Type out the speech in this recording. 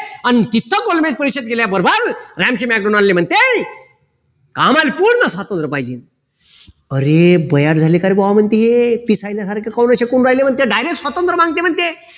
न तिथे गोलबेज परिषद केल्याबरोबर म्हणते आम्हाला पूर्ण सात हजार पाहिजे अरे झाले कारे बुआ म्हणते हे direct स्वातंत्र मागते म्हणते